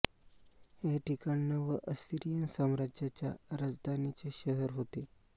हे ठिकाण नव असिरीयन साम्राज्याच्या राजधानीचे शहर होते